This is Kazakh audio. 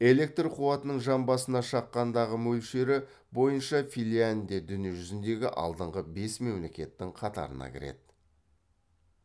электр қуатының жан басына шыққандағы мөлшері бойынша финляндия дүние жүзіндегі алдыңғы бес мемлекеттің қатарына кіреді